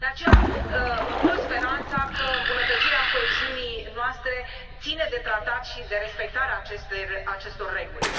De aceea, îmi pun speranța că îmbunătățirea coeziunii noastre ține de tratat și de respectarea acestor reguli.